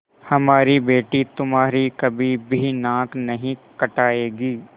हमारी बेटी तुम्हारी कभी भी नाक नहीं कटायेगी